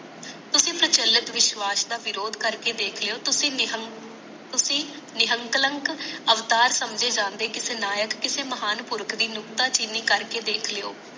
ਤੁਸੀ ਚਲੰਤ ਵਿਸਵਾਸ਼ ਦਾ ਵਿਰੋਥ ਕਰਕੇ ਦੇਖ ਲਿਓ ਤੁਸੀ ਨਿਹਕਲਾਗ ਅਵਤਾਰ ਸਮਝਣ ਜਾਂਦੇ ਕਿਸੇ ਨਾਇਕ ਕਿਸੇ ਮਹਾਨ ਪੂਰਕ ਦੀ ਮੁਕਤਾ ਚੀਨੀ ਕਰਕੇ ਦੇਖ ਲਿਓ